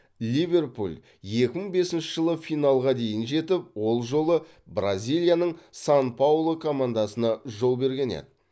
ливерпуль екі мың бесінші жылы финалға дейін жетіп ол жолы бразилияның сан паулу командасына жол берген еді